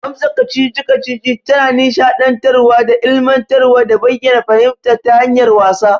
Amsa kacici-kacici tana nisha dantarwa da ilimantarwa da bayyana fahimta ta hanyar wasa.